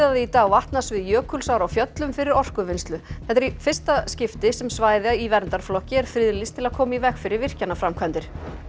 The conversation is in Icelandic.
í dag vatnasvið Jökulsár á Fjöllum fyrir orkuvinnslu þetta er í fyrsta skipti sem svæði í verndarflokki er friðlýst til að koma í veg fyrir virkjanaframkvæmdir